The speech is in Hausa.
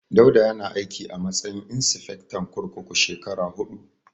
Dauda yana aiki a matsayin insifectan kurkuku shekara huɗu.